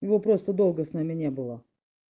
его просто долго с нами не было